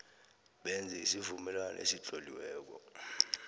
benze isivumelwano esitloliweko